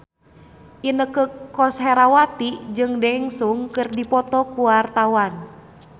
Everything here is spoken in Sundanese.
Inneke Koesherawati jeung Daesung keur dipoto ku wartawan